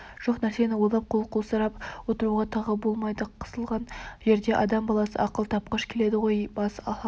жоқ нәрсені ойлап қол қусырып отыруға тағы болмайды қысылған жерде адам баласы ақыл тапқыш келеді ғой бас салып